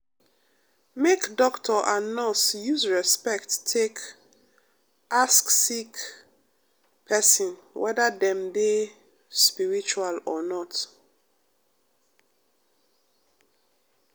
make doctor and nurse use respect take ask sick pesin wether dem dey spiritual or not.